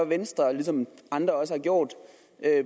venstre ligesom andre også har gjort